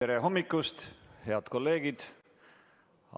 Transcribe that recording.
Tere hommikust, head kolleegid!